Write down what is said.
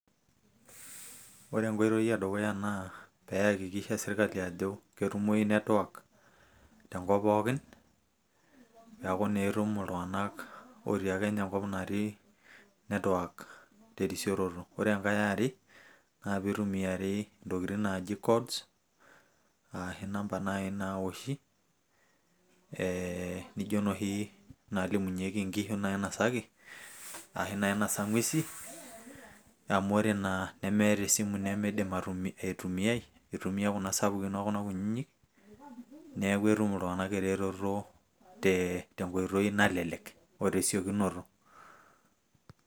ore enkoitoi edukya naa peyie eyakikisha sirkali, ajo ketumoyu network, tenkop pookin, neeku naa etum iltung'anak, otii ake ina kop natii network terisoroto. ore enkae ye are, naa pee eitumiyari intokitin naaji, codes, ashu inamba naai naoshi, nijo inoshi naalimunyeki nkishu nainosaki, ashu nainosa ng'uesi, amu ore naa nemeta esimu nimidim aitumia kuna sapkin okuna kutitik, neeku etum iltung'anak eretoto tesiokinoto o te nkoitoi nalelek.